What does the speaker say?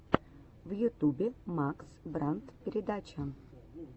в ютубе макс брандт передача